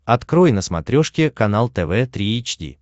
открой на смотрешке канал тв три эйч ди